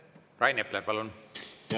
Rain Epler, palun!